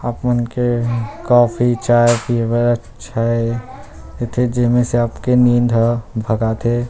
आप उनके कॉफ़ी चाय पिबे अच्छा ए एति जेमे से एह नींद भगाथे।